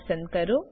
પસંદ કરો